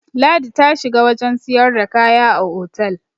ladi ta shiga wajen siyarda kaya a otal